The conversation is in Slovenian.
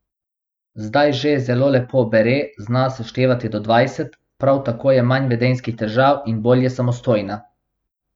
Zdaj že zelo lepo bere, zna seštevati do dvajset, prav tako je manj vedenjskih težav in bolj je samostojna.